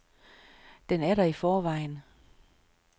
Den er der i forvejen.